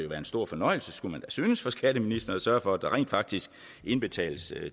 være en stor fornøjelse skulle man synes for skatteministeren at sørge for at der rent faktisk indbetales